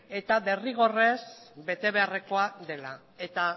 eta derrigorrez betebeharrekoa dela eta